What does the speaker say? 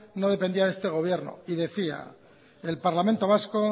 no dependía de este gobierno y decía el parlamento vasco